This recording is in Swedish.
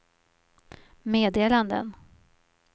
meddelanden